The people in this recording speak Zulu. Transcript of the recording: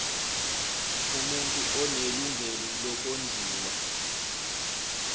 umuntu onelungelo lokondliwa